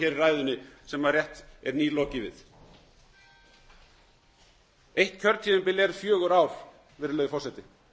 í ræðunni sem rétt er nýlokið við eitt kjörtímabil er fjögur ár virðulegi forseti